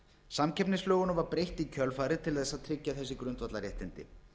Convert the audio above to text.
samkeppnislögunum var breytt í kjölfarið til þess að tryggja þessi grundvallarréttindi